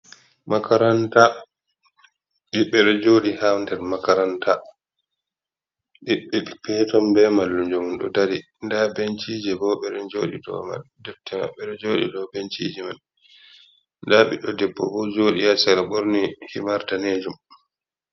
Makaranta ɓiɓɓe ɗo joɗi ha nder makaranta eton be mallumjo ɗo dari nda bencije bo ɓeɗo joɗi ɗo man defte maɓɓe ɗo joɗi dow bencije man, nda debbo bo joɗi her sera ɓorni himar danejum.